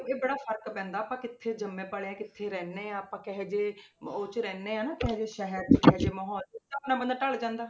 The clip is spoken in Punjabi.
ਇਹ ਬੜਾ ਫ਼ਰਕ ਪੈਂਦਾ ਆਪਾਂ ਕਿੱਥੇ ਜੰਮੇ ਪਲੇ ਹਾਂ, ਕਿੱਥੇ ਰਹਿੰਦੇ ਹਾਂ, ਆਪਾਂ ਕਿਹੋ ਜਿਹੇ ਉਹ 'ਚ ਰਹਿੰਦੇ ਹਾਂ ਨਾ ਕਿਹੋ ਜਿਹੇ ਸ਼ਹਿਰ ਕਿਹੋ ਜਿਹੇ ਮਾਹੌਲ 'ਚ ਉਸ ਹਿਸਾਬ ਨਾਲ ਬੰਦਾ ਢਲ ਜਾਂਦਾ।